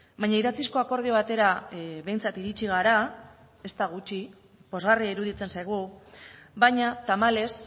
baina idatzizko akordio batera behintzat iritsi gara ez da gutxi pozgarria iruditzen zaigu baina tamalez